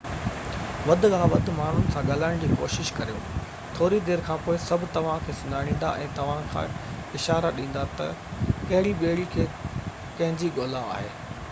وڌ کان وڌ ماڻهن سان ڳالهائڻ جي ڪوشش ڪريو ٿوري دير کانپوءِ سڀ توهان کي سڃاڻيندا ۽ توهان کي اشارا ڏيندا تہ ڪهڙي ٻيڙي کي ڪنهنجي ڳولا آهي